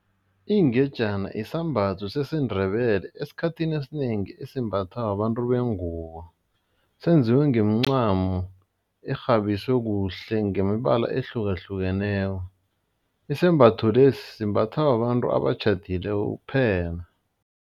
Ingejana isambatho sesiNdebele esikhathini esinengi esimbathwa babantu bengubo, senziwe ngeemcamo erhabiswe kuhle ngemibala ehlukahlukeneko, isembatho lesi simbathwa babantu abatjhadileko kuphela.